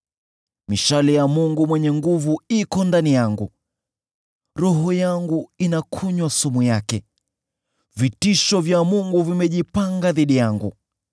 Mishale ya Mwenyezi iko ndani yangu, roho yangu inakunywa sumu yake; vitisho vya Mungu vimejipanga dhidi yangu.